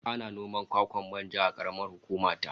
Ana noman kwakwan manja a karamar hukuma ta